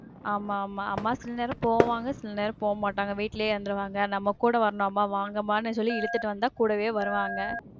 ஆமா ஆமா. அம்மா சில நேரம் போவாங்க, சில நேரம் போமாட்டாங்க. வீட்லயே இருந்துருவாங்க, நம்ம கூட வரணும், அம்மா வாங்கமானுசொல்லி இழுத்துட்டு வந்தா கூடவே வருவாங்க.